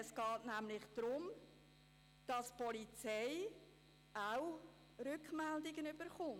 Es geht nämlich darum, dass auch die Polizei Rückmeldungen erhält.